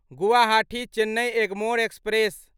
Guwahati Chennai Egmore express